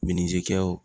Minitikɛw